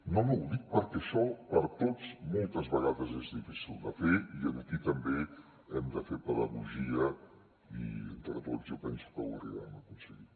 no ho dic perquè això per a tots moltes vegades és difícil de fer i aquí també hem de fer pedagogia i entre tots jo penso que ho arribarem a aconseguir